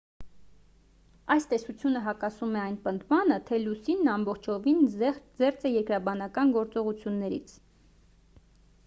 այս տեսությունը հակասում է այն պնդմանը թե լուսինն ամբողջովին զերծ է երկրաբանական գործողություններից